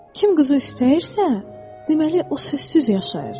Kim quzu istəyirsə, deməli o sözsüz yaşayır.